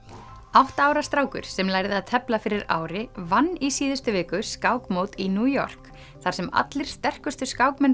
átta ára strákur sem lærði að tefla fyrir ári vann í síðustu viku skákmót í New York þar sem allir sterkustu skákmenn